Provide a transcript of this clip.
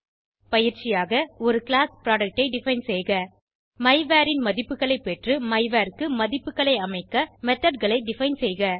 பயிற்சியாக ஒருclass புரொடக்ட் ஐ டிஃபைன் செய்க மைவர் ன் மதிப்புகளை பெற்று மைவர் க்கு மதிப்புகளை அமைக்க மெத்தோட் களை டிஃபைன் செய்க